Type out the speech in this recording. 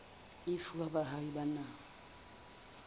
e fuwa baahi ba naha